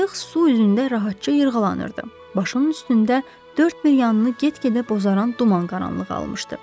Qayıq su üzündə rahatca yırğalanırdı, başının üstündə dörd bir yanını get-gedə bozaran duman qaranlığı almışdı.